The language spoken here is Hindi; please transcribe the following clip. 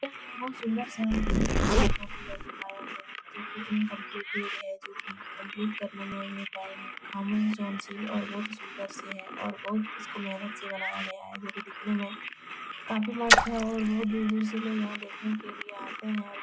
यह एक बहुत सुंदर सा रेस्टोरेंट का फिगर दिखाया गया है जो की इन्कम्प्लेटेड है। जो की कम्पलीट करने में अभी टाइम है और बहोत ही सुंदर से है और बहोत इसको मेहनत से बनाया गया है जो की दिखने में काफी मस्त है और बहुत दूर-दूर से लोग यहाँ देखने के लिए आते है और--